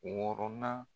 Wɔɔrɔnan